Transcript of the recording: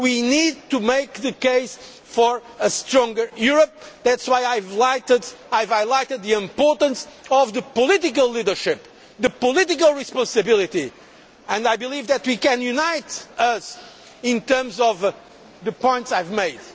We need to make the case for a stronger Europe, that is why I have highlighted the importance of the political leadership, the political responsibility, and I believe that we can unite ourselves in terms of the points I have